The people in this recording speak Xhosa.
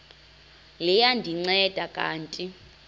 liya ndinceda kanti